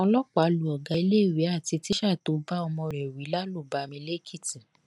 ọlọpàá lu ọgá iléèwé àti tíṣà tó bá ọmọ rẹ wí lálùbami lẹkìtì